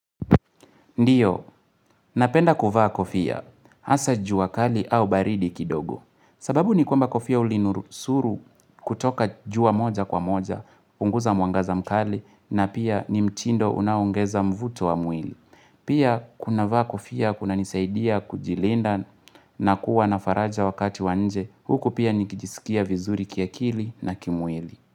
Ndiyo, napenda kuvaa kofia, hasa jua kali au baridi kidogo. Sababu ni kwamba kofia hulinurusuru kutoka jua moja kwa moja, punguza mwangaza mkali, na pia ni mtindo unaoongeza mvuto wa mwili. Pia kunavaa kofia, kunanisaidia kujilinda na kuwa na faraja wakati wa nje, huku pia nikijisikia vizuri kiakili na kimwili.